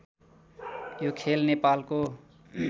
यो खेल नेपालको